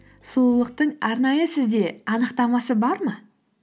сұлулықтың арнайы сізде анықтамасы бар ма